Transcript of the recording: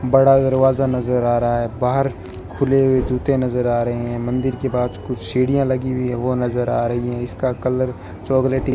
बड़ा दरवाजा नजर आ रहा है बाहर खुले हुए जूते नजर आ रहे हैं मंदिर के पास कुछ सीढ़ियां लगी हुई हैं वो नजर आ रही हैं इसका कलर चॉकलेटी --